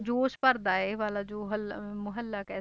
ਜੋਸ਼ ਭਰਦਾ ਹੈ ਇਹ ਵਾਲਾ ਜੋ ਹੱਲਾ ਅਹ ਮਹੱਲਾ ਕਹਿ